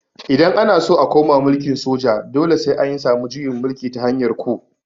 Idan ana so a koma mulkin soja dole sai an samu juyin mulki ta hanyar ku